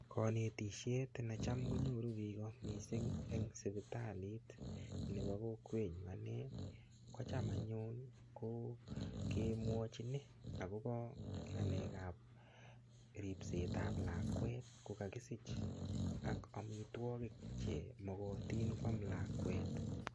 Kanetishet necham konyoru biko mising' eng' sipitalit nebo kokwenyu ane kocham anyun ko kemwochini akobo ng'alekab ripsetab lakwet kokakisich ak omitwokik chemokotin kwam lakwet